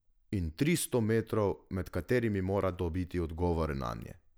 In tristo metrov, med katerimi mora dobiti odgovore nanje.